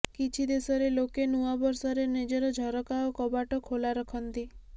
କିଛି ଦେଶରେ ଲୋକେ ନୂଆବର୍ଷରେ ନିଜର ଝରକା ଓ କବାଟ ଖୋଲା ରଖନ୍ତି